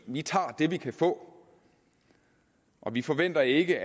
vi tager det vi kan få og vi forventer ikke